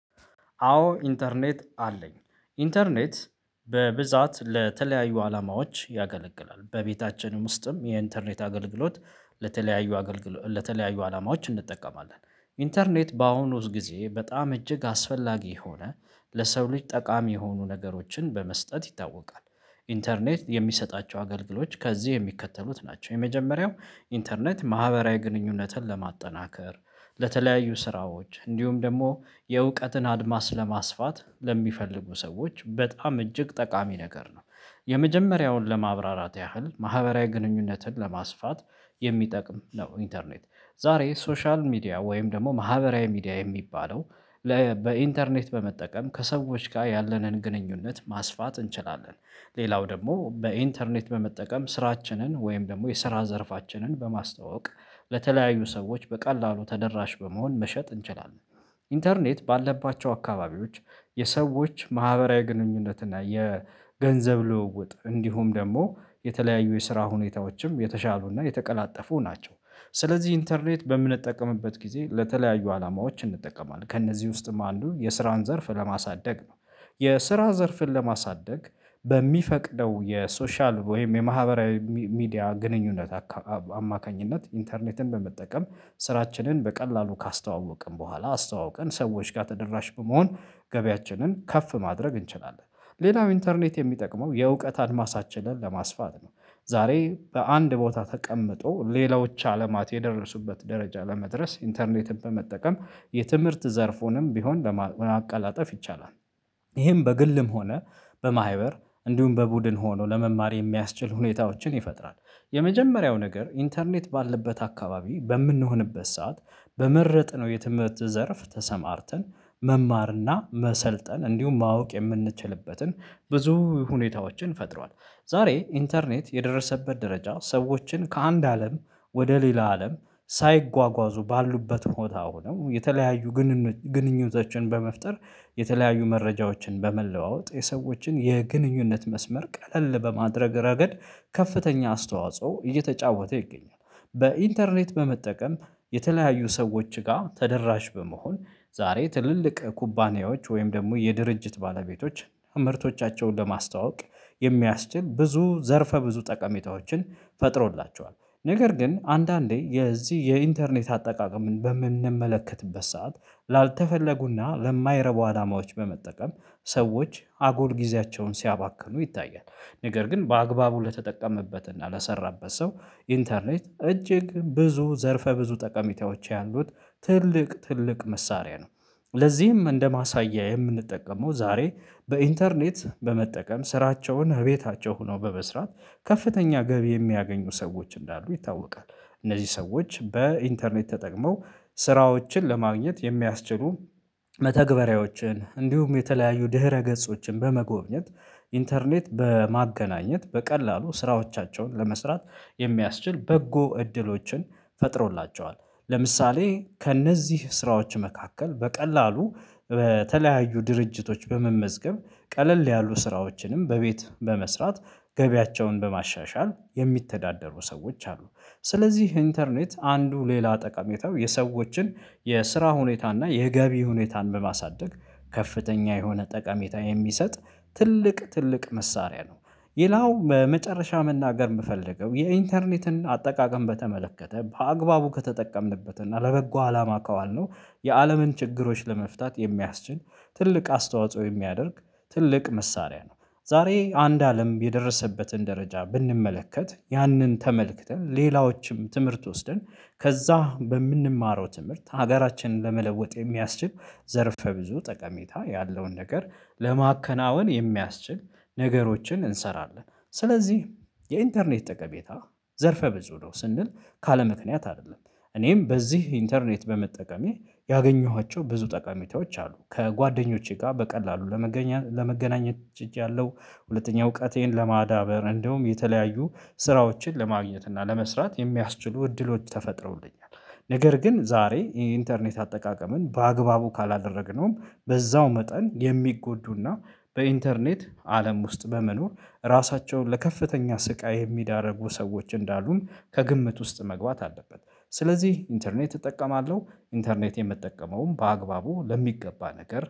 አዎ ኢንተርኔት አለኝ ኢንተርኔት በብዛት ለተለያዩ አላማዎች ያገለግላል በቤታችንም ውስጥም የኢንተርኔት አገልግሎት ለተለያዩ አገልግሎት ለተለያዩ አላማዎች እንጠቀማለን። ኢንተርኔት በአሁኑ ጊዜ በጣም እጅግ አስፈላጊ የሆነ ለሰው ልጅ ጠቃሚ የሆኑ ነገሮችን በመስጠት ይታወቃል። ኢንተርኔት የሚሰጣቸው አገልግሎች ከዚህ የሚከተሉት ናቸው የመጀመሪያው ኢንተርኔት ማህበራዊ ግንኙነትን ለማጠናከር ለተለያዩ ስራዎች እንዲሁም ደግሞ የእውቀትን አድማስ ለማስፋት ለሚፈልጉ ሰዎች በጣም እጅግ ጠቃሚ ነገር ነው። የመጀመሪያውን ለማብራራት ያህል ማህበራዊ ግንኙነትን ለማስፋት የሚጠቅም ነው ኢንተርኔት ዛሬ ሶሻል ሚዲያ ወይም ደግሞ ማህበራዊ ሚዲያ የሚባለው በኢንተርኔት በመጠቀም ከሰዎች ጋር ያለንን ግንኙነት ማስፋት እንችላለን። ሌላው ደግሞ በኢንተርኔት በመጠቀም ስራችንን ወይም ደግሞ የስራ ዘርፋችንን በማስተዋወቅ ለተለያዩ ሰዎች በቀላሉ ተደራሽ በመሆን መሸጥ እንችላለን። ኢንተርኔት ባለባቸው አካባቢዎች የሰዎች ማህበራዊ ግንኙነት እና የገንዘብ ልውውጥ እንዲሁም ደግሞ የተለያዩ የስራ ሁኔታዎችም የተሻሉና የተቀላጠፉ ናቸው። ስለዚህ ኢንተርኔት በምንጠቀምበት ጊዜ ለተለያዩ አላማዎች እንጠቀማለን ከእነዚህ ውስጥም አንዱ የስራን ዘርፍ ለማሳደግ ነው። የስራ ዘርፍን ለማሳደግ በሚፈቅደው የሶሻል ወይም የማህበራዊ ሚዲያ ግንኙነት አማካኝነት ኢንተርኔትን በመጠቀም ስራችንን በቀላሉ ካስተዋወቅን በኋላ አስተዋውቀን ሰዎች ጋር ተደራሽ በመሆን ገበያችንን ከፍ ማድረግ እንችላለን። ሌላው ኢንተርኔት የሚጠቅመው የእውቀት አድማሳችንን ለማስፋት ነው ዛሬ በአንድ ቦታ ተቀምጦ ሌላዎች አለማት የደረሱበት ደረጃ ለመድረስ ኢንተርኔትን በመጠቀም የትምህርት ዘርፉንም ቢሆን ለማቀላጠፍ ይቻላል። ይሄም በግልም ሆነ በማህበር እንዲሁም በቡድን ሆኖ ለመማር የሚያስችል ሁኔታዎችን ይፈጥራል። የመጀመሪያው ነገር ኢንተርኔት ባለበት አካባቢ በምንሆንበት ሰዓት በመረጥነው የትምህርት ዘርፍ ተሰማርተን መማርና መሰልጠን እንዲሁም ማወቅ የምንችልበትን ብዙ ሁኔታዎችን ፈጥሯል። ዛሬ ኢንተርኔት የደረሰበት ደረጃ ሰዎችን ከአንድ አለም ወደ ሌላ አለም ሳይጓጓዙ ባሉበት ቦታ አነው የተለያዩ ግንኙነቶችን በመፍጠር የተለያዩ መረጃዎችን በመለዋወጥ የሰዎችን የግንኙነት መስመር ቀለል በማድረግ ረገድ ከፍተኛ አስተዋጽኦ እየተጫወተ ይገኛል። በኢንተርኔት በመጠቀም የተለያዩ ሰዎች ጋር ተደራሽ በመሆን ዛሬ ትልልቅ ኩባንያዎች ወይም ደግሞ የድርጅት ባለቤቶች ምርቶቻቸውን ለማስተዋወቅ የሚያስችል ብዙ ዘርፈ ብዙ ጠቀሜታዎችን ፈጥሮላቸዋል። ነገር ግን አንዳንዴ የዚህ የኢንተርኔት አጠቃቀምን በምንመለከትበት ሰዓት ላልተፈለጉና ለማይረቡ አላማዎች በመጠቀም ሰዎች አጉል ጊዜያቸውን ሲያባክኑ ይታያል። ነገር ግን በአግባቡ ለተጠቀመበት እና ለሰራበት ሰው ኢንተርኔት እጅግ ብዙ ዘርፈ ብዙ ጠቀሚታዎች ያሉት ትልቅ ትልቅ መሳሪያ ነው። ለዚህም እንደ ማሳያ የምንጠቀመው ዛሬ በኢንተርኔት በመጠቀም ስራቸውን እቤታቸው ሆነው በመስራት ከፍተኛ ገቢ የሚያገኙ ሰዎች እንዳሉ ይታወቃል። እነዚህ ሰዎች በኢንተርኔት ተጠቅመው ስራዎችን ለማግኘት የሚያስችሉ መተግበሪያዎችን እንዲሁም የተለያዩ ድህረ ገጾችን በመጎብኘት ኢንተርኔት በማገናኘት በቀላሉ ስራዎቻቸውን ለመስራት የሚያስችል በጎ እድሎችን ፈጥሮላቸዋል። ለምሳሌ ከእነዚህ ስራዎች መካከል በቀላሉ በተለያዩ ድርጅቶች በመመዝገብ ቀለል ያሉ ስራዎችንም በቤት በመስራት ገቢያቸውን በማሻሻል የሚተዳደሩ ሰዎች አሉ። ስለዚህ ኢንተርኔት አንዱ ሌላ ጠቀሜታው የሰዎችን የስራ ሁኔታ እና የገቢ ሁኔታን በማሳደግ ከፍተኛ የሆነ ጠቀሜታ የሚሰጥ ትልቅ ትልቅ መሳሪያ ነው። ሌላው በመጨረሻ መናገር የምፈልገው የኢንተርኔትን አጠቃቀም በተመለከተ በአግባቡ ከተጠቀምንበት እና ለበጎ አላማ ካዋልነው የአለምን ችግሮች ለመፍታት የሚያስችል ትልቅ አስተዋጽኦ የሚያደርግ ትልቅ መሳሪያ ነው። ዛሬ አንድ አለም የደረሰበትን ደረጃ ብንመለከት ያንን ተመልክተን ሌላዎችም ትምህርት ወስደን ከዛ በምንማረው ትምህርት ሀገራችንን ለመለወጥ የሚያስችል ዘርፈ ብዙ ጠቀሜታ ያለውን ነገር ለማከናወን የሚያስችል ነገሮችን እንሰራለን። ስለዚህ የኢንተርኔት ጠቀሜታ ዘርፈ ብዙ ነው ስንል ካለ ምክንያት አይደለም። እኔም በዚህ ኢንተርኔት በመጠቀሜ ያገኘኋቸው ብዙ ጠቃሚቶች አሉ ከጓደኞቼ ጋር በቀላሉ ለመገናኘት ችያለሁ። ሁለተኛ እውቀቴን ለማዳበር እንደውም የተለያዩ ስራዎችን ለማግኘት እና ለመስራት የሚያስችሉ እድሎች ተፈጥረውልኛል። ነገር ግን ዛሬ ኢንተርኔት አጠቃቀምን በአግባቡ ካላደረግነውም በዛው መጠን የሚጎዱና በኢንተርኔት አለም ውስጥ በመኖር ራሳቸውን ለከፍተኛ ስቃይ የሚዳርጉ ሰዎች እንዳሉን ከግምት ውስጥ መግባት አለበን። ስለዚህ ኢንተርኔት እጠቀማለሁ ኢንተርኔት የምጠቀመውም በአግባቡ ለሚገባ ነገር